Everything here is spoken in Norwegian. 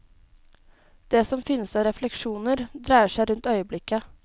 Det som finnes av refleksjoner, dreier seg rundt øyeblikket.